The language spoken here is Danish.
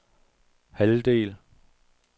halvdel